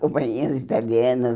Companhias italianas.